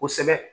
Kosɛbɛ